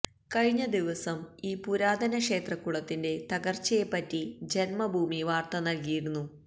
കഴിഞ്ഞ ദിവസം ഈ പുരാതന ക്ഷേത്രകുളത്തിന്റെ തകര്ച്ചയെപ്പറ്റി ജന്മഭൂമി വാര്ത്ത നല്കിയിരുന്നു